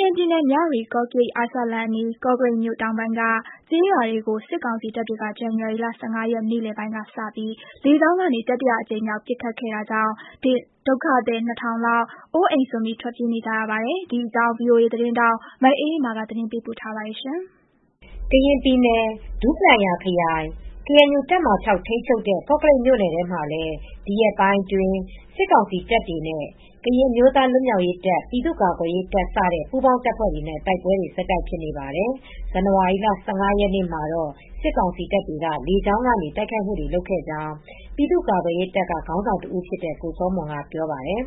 ရင်ပြည်နယ်၊ မြဝတီ-ကော့ကရိတ် အာရှလမ်းအနီး ကော့ကရိတ်မြို့ တောင်ပိုင်းက ကျေးရွာတွေကို စစ်ကောင်စီတပ်တွေက ဇန်နဝါရီလ ၁၅ ရက် နေ့လယ်ပိုင်းကစပြီး လေကြောင်းကနေ တတိယအကြိမ်မြောက် ပစ်ခတ်ခဲ့တာကြောင့် ဒုက္ခသည် ၂,၀၀၀ လောက် အိုးအိမ်စွန့် ထွက်ပြေးနေကြရပါတယ်။ ဒီအကြောင်း ဗွီအိုအေသတင်းထောက် မအေးအေးမာ သတင်းပေးပို့ထားပါတယ်။ ကရင်ပြည်နယ် ဒူးပလာယာခရိုင် ကေအန်ယူတပ်မဟာ ၆ ထိန်းချုပ်တဲ့ ကော့ကရိတ်မြို့နယ်မှာလည်း ဒီရက်ပိုင်းအတွင်း စစ်ကောင်စီတပ်တွေနဲ့ ကရင်အမျိုးသား လွတ်မြောက်ရေးတပ်၊ ပြည်သူ့ကာကွယ်ရေးတပ် စတဲ့ ပူးပေါင်းတပ်ဖွဲ့တွေနဲ့ တိုက်ပွဲတွေ ဆက်တိုက်ဖြစ်နေပါတယ်။ ဇန်နဝါရီလ ၁၅ ရက်နေ့မှာတော့ စစ်ကောင်စီတပ်တွေက လေကြောင်းကနေ တိုက်ခိုက်မှုတွေ လုပ်ခဲ့ကြောင်း ပြည်သူ့ကာကွယ်ရေးတပ်က ခေါင်းဆောင်တဦးဖြစ်တဲ့ ကိုစောမွန်က ပြောပါတယ်။